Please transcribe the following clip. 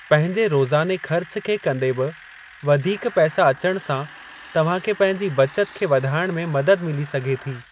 पंहिंजे रोज़ाने ख़र्च खे कंदे बि वधीक पैसा अचण सां तव्हां खे पंहिंजी बचत खे वधाइण में मदद मिली सघे थी।